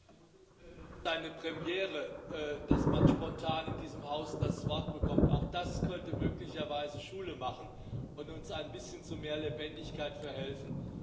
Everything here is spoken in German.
Herr Präsident! Das ist eine Premiere, dass man spontan in diesem Haus das Wort bekommt. Auch das könnte möglicherweise Schule machen und uns zu ein bisschen mehr Lebendigkeit verhelfen.